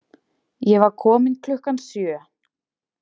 Ég var komin klukkan sjö.